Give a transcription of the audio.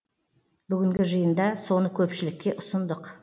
бүгінгі жиында соны көпшілікке ұсындық